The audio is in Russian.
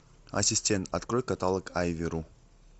ассистент открой каталог айви ру